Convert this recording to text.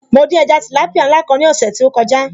Mo dín ẹja tìlápìá ńlá kan ní ọ̀sẹ̀ tí ó kọjá